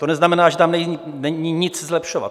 To neznamená, že tam není nic zlepšovat.